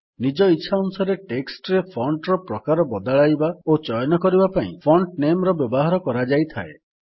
ନିଜ ଇଚ୍ଛାନୁସାରେ ଟେକ୍ସଟ୍ ରେ ଫଣ୍ଟ୍ ର ପ୍ରକାର ବଦଳାଇବା ଓ ଚୟନ କରିବା ପାଇଁ ଫଣ୍ଟ ନାମେ ର ବ୍ୟବହାର କରାଯାଇଥାଏ